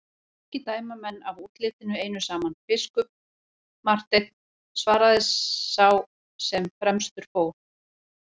Ekki dæma menn af útlitinu einu saman, biskup Marteinn, svaraði sá sem fremstur fór.